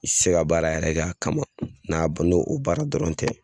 I tɛ se ka baara yɛrɛ kɛ a kama n'a bɔn n' o baara dɔrɔn tɛ.